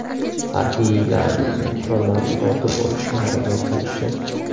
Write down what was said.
Harbiylarimizning qurollarini tortib olishga harakat qilishdi.